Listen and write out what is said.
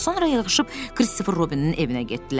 Sonra yığışıb Christopher Robinin evinə getdilər.